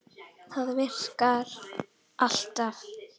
Það virkar alltaf.